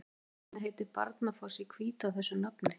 Hvers vegna heitir Barnafoss í Hvítá þessu nafni?